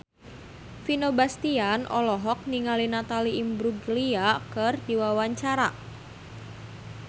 Vino Bastian olohok ningali Natalie Imbruglia keur diwawancara